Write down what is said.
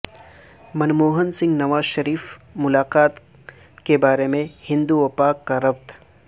منموہن سنگھ نواز شریف ملاقات کے بارے میں ہند و پاک کا ربط